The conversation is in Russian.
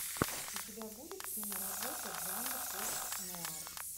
у тебя будет киноработа жанр постнуар